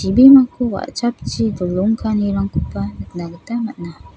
wa·chapchi dolong ka·anirangkoba nikna gita man·a.